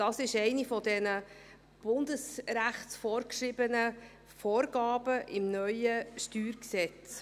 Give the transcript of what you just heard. Das ist eine dieser durch Bundesrecht vorgegebenen Vorgaben im neuen StG.